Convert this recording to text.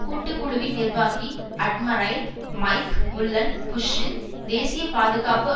கூட்டுக்குழுவின் நிர்வாகி admiral Mike Mullen புஷ்ஷின் தேசிய பாதுகாப்பு